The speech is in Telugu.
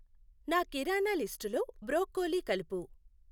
నా కిరాణా లిస్టు లో బ్రొక్కోలి కలుపు.